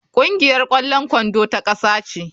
Kungiyar kwallon kwando ta kasa ce.